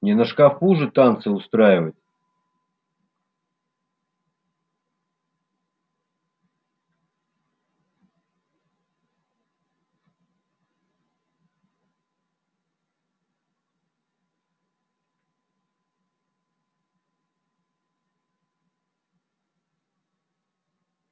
не на шкафу же танцы устраивать